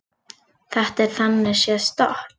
Þetta er þannig séð stopp